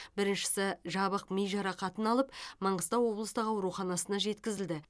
біріншісі жабық ми жарақатын алып маңғыстау облыстық ауруханасына жеткізілді